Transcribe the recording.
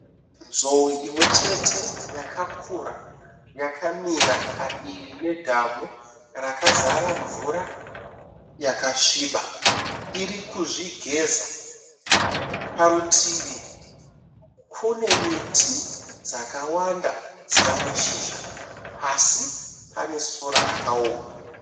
Nzou imwechete yakakura yakamira padivi nedhamu rakazara mvura yakasviba iri kuzvigeza, parutivi kune miti yakawanda ine mashizha, pasi pane sora rakaoma.